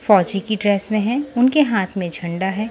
फौजी की ड्रेस में है उनके हाथ में झंडा है।